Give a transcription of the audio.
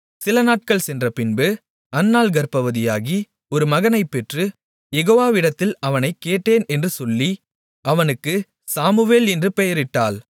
சிலநாட்கள் சென்றபின்பு அன்னாள் கர்ப்பவதியாகி ஒரு மகனைப் பெற்று யெகோவாவிடத்தில் அவனைக் கேட்டேன் என்று சொல்லி அவனுக்கு சாமுவேல் என்று பெயரிட்டாள்